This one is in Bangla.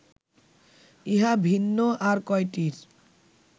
ইহা ভিন্ন আর কয়টির